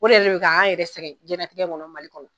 O yɛrɛ de bi ka an yɛrɛ sɛgɛn jɛnatigɛ in kɔnɔ Mali kɔnɔ.